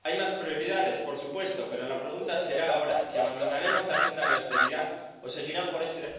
Hay más prioridades, por supuesto, pero la pregunta será ahora si abandonaremos la senda de la austeridad o seguirán por ese...